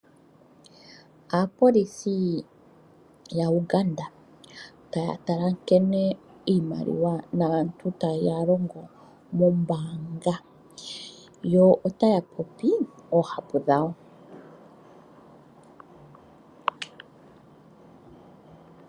Aapolisi ya Uganda taya tala nkene iimaliwa naantu nkene taya longo mombaanga, yo otaya popi oohapu dhawo.